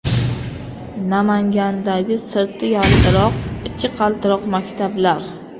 Namangandagi sirti yaltiroq, ichi qaltiroq maktablar.